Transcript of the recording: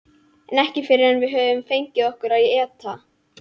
En ekki fyrr en við höfum fengið okkur að éta.